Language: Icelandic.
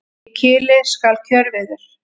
Í kili skal kjörviður.